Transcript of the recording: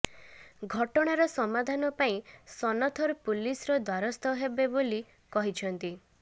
ଘଟଣାର ସମାଧାନ ପାଇଁ ସନଥର ପୁଲିସ୍ ର ଦ୍ୱାରସ୍ଥ ହେବେ ବୋଲି କହିଛନ୍ତି